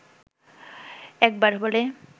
একবার বলে